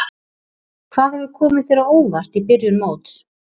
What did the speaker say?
Hvað hefur komið þér á óvart í byrjun móts?